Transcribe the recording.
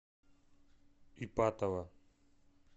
ипатово